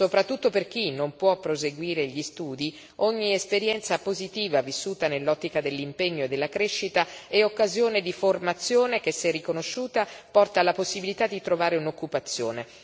Soprattutto per chi non può proseguire gli studi, ogni esperienza positiva vissuta nell'ottica dell'impegno e della crescita è occasione di formazione che, se riconosciuta, porta alla possibilità di trovare un'occupazione.